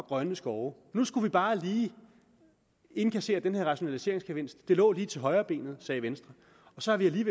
og grønne skove at nu skulle vi bare lige indkassere den her rationaliseringsgevinst det lå lige til højrebenet sagde venstre og så har vi